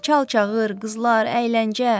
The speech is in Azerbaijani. Çal-çağır, qızlar, əyləncə.